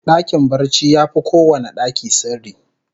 Dakin barci yafi kowanne daki sirri